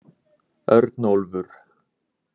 Örnólfur